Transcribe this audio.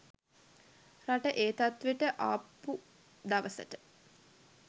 රට ඒ තත්වෙට ආපු දවසට